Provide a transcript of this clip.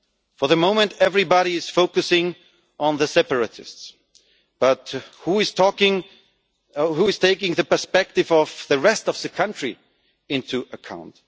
so. For the moment, everybody is focusing on the separatists, but who is taking the perspective of the rest of the country into account?